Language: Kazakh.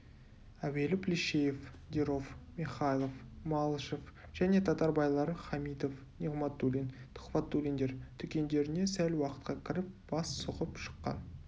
әуелі плещеев деров михайлов малышев және татар байлары хамитов неғматуллин тұхфатуллиндер дүкендеріне сәл уақытқа кіріп бас сұғып шыққан